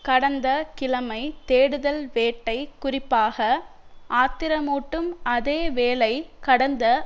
கடந்த கிழமை தேடுதல் வேட்டை குறிப்பாக ஆத்திரமூட்டும் அதே வேளை கடந்த